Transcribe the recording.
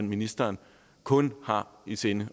ministeren kun har i sinde